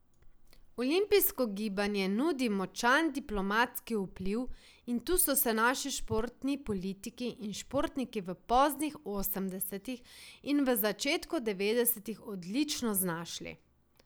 Olimpijsko gibanje nudi močan diplomatski vpliv in tu so se naši športni politiki in športniki v poznih osemdesetih in v začetku devetdesetih odlično znašli.